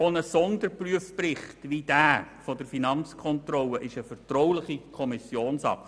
Auch ein Sonderprüfbericht wie derjenige der Finanzkontrolle ist eine vertrauliche Kommissionsakte.